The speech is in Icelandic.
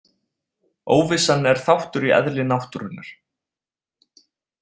Óvissan er þáttur í eðli náttúrunnar.